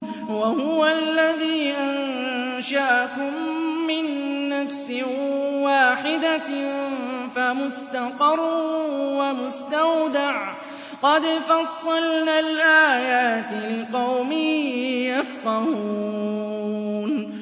وَهُوَ الَّذِي أَنشَأَكُم مِّن نَّفْسٍ وَاحِدَةٍ فَمُسْتَقَرٌّ وَمُسْتَوْدَعٌ ۗ قَدْ فَصَّلْنَا الْآيَاتِ لِقَوْمٍ يَفْقَهُونَ